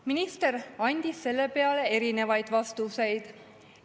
Minister andis selle peale erinevaid vastuseid.